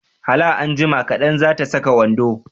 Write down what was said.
Hala anjima kaɗan, za ta saka wando